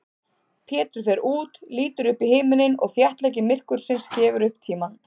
Pétur fer út, lítur upp í himininn og þéttleiki myrkursins gefur upp tímann.